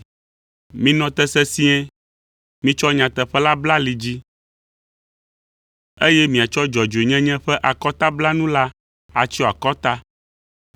Minɔ te sesĩe, mitsɔ nyateƒe la bla ali dzi, eye miatsɔ dzɔdzɔenyenye ƒe akɔtablanu la atsyɔ akɔta,